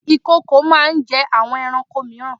Ìkokò máa ń jẹ́ àwọn ẹranko mìíran.